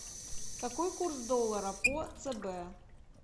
какой курс доллара по цб